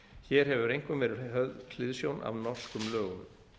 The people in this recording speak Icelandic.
hér hefur einkum ferð höfð hliðsjón af norskum lögum